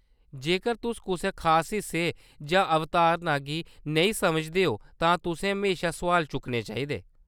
जेकर तुस कुसै खास हिस्से जां अवधारणा गी नेईं समझदे ओ तां तुसें म्हेशा सुआल चुक्कने चाहिदे।